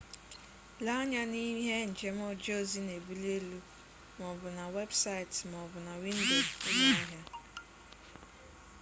lee anya na ihe njem oje ozi na ebuli elu ma o bu na webusaiti ma o bu na windo ulo ahia